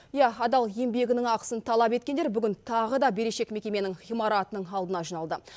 иә адал еңбегінің ақысын талап еткендер бүгін тағы да берешек мекеменің ғимаратының алдына жиналды